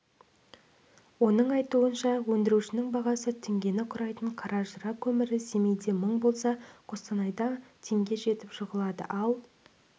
оның айтуынша өндірушінің бағасы теңгені құрайтын қаражыра көмірі семейде мың болса қостанайда теңге жетіп жығылады ал